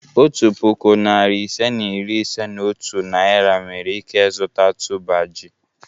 Otu puku, narị ise na iri ise na otu Naira nwere ike zụta tuber ji.